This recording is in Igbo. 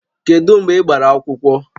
Kedu mgbe ị gbara akwụkwọ?